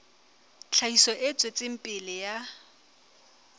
tlhahiso e tswetseng pele ya